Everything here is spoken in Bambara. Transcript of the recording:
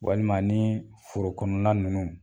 Walima nii forokɔnɔla nunnu